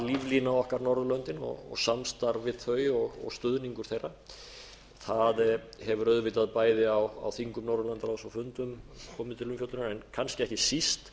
líflína okkar norðurlöndin og samstarf við þau og stuðningur þeirra það hefur auðvitað bæði á þingum norðurlandaráðs og fundum komið til umfjöllunar en kannski ekki síst